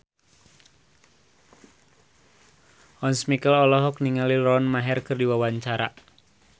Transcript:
Once Mekel olohok ningali Lauren Maher keur diwawancara